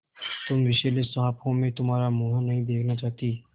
तुम विषैले साँप हो मैं तुम्हारा मुँह नहीं देखना चाहती